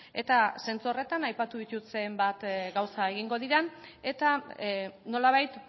eta zentzu horretan aipatu ditut zenbat gauza egingo diren eta nolabait